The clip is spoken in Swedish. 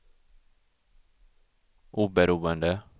oberoende